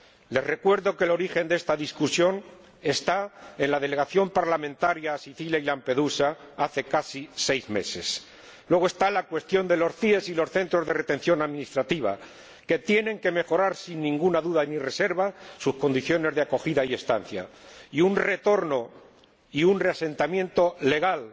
Les recuerdo que el origen de esta discusión está en la delegación parlamentaria enviada a Sicilia y Lampedusa hace casi seis meses. Luego está la cuestión de los CIE y los centros de retención administrativa, que tienen que mejorar, sin ninguna duda ni reserva, sus condiciones de acogida y estancia, y la cuestión de un retorno y un reasentamiento legal,